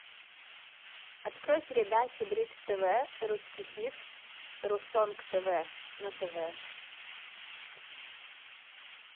открой передачу бридж тв русский хит русонг тв на тв